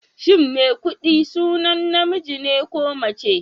Shin Maikuɗi sunan namiji ne ko mace?